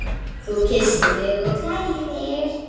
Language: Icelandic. Þú kyssir mig og klæðir.